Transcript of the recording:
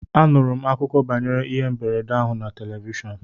Anụrụ m akụkọ banyere ihe mberede ahụ na telivishọn